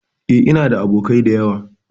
E, ina da abokai da yawa.